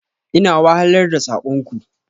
Ina wahalar da sakon ku.